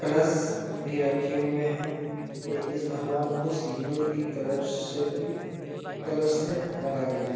Colours भी रखे हुऐ हैं ये इस भगवान को सिंदूर की कलर्स से भी कलर्स से रंगा गया है।